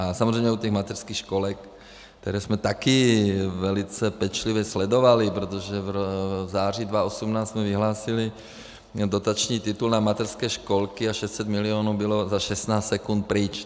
A samozřejmě u těch mateřských školek, které jsme taky velice pečlivě sledovali, protože v září 2018 jsme vyhlásili dotační titul na mateřské školky, a 600 milionů bylo za 16 sekund pryč.